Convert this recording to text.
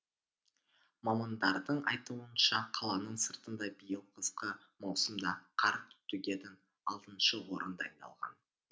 мамандардың айтуынша қаланың сыртында биыл қысқы маусымда қар төгетін алтыншы орын дайындалған